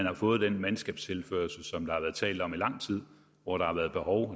har fået den mandskabstilførsel som der har været talt om i lang tid hvor der har været behov